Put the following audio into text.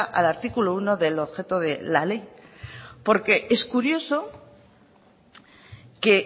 al artículo uno del objeto de la ley porque es curioso que